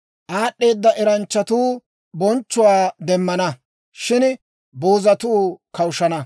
Aad'd'eeda eranchchatuu bonchchuwaa demmana; shin boozatuu kawushshana.